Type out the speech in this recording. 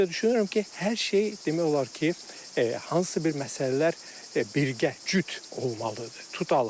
Ancaq düşünürəm ki, hər şey demək olar ki, hansısa bir məsələlər birgə, cüt olmalıdır.